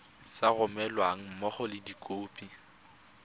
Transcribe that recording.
sa romelweng mmogo le dikopo